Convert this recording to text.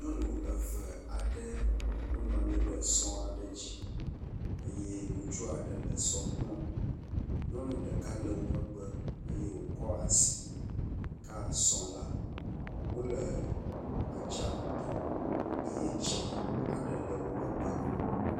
Nyɔnu eve aɖe wonɔ anyi ɖe sɔ aɖe dzi eye ŋutsu aɖe le sɔa kplɔm. Nyɔnu ɖeka le wo megbe eye wokɔ asi ka sɔ le. Wole atsaƒu to eye tsi aɖe le wo megbe.